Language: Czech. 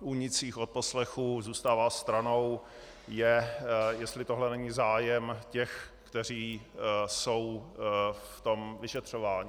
únicích odposlechů zůstává stranou, je, jestli tohle není zájem těch, kteří jsou v tom vyšetřování.